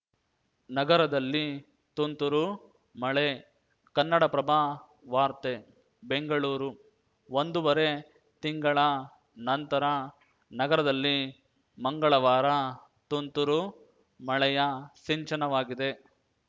ನಗರದಲ್ಲಿ ತುಂತುರು ಮಳೆ ಕನ್ನಡಪ್ರಭ ವಾರ್ತೆ ಬೆಂಗಳೂರು ಒಂದುವರೆ ತಿಂಗಳ ನಂತರ ನಗರದಲ್ಲಿ ಮಂಗಳವಾರ ತುಂತುರು ಮಳೆಯ ಸಿಂಚನವಾಗಿದೆ